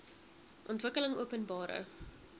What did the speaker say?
ontwikkelingopenbare